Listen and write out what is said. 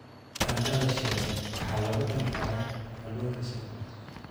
Baradhada shiilan waxaa lagu cuni karaa kalluunka shiilan.